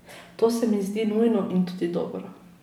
To se mi zdi nujno in tudi dobro.